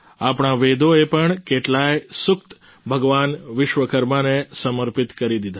આપણા વેદોએ પણ કેટલાય સૂક્ત ભગવાન વિશ્વકર્માને સમર્પિત કરી દીધા છે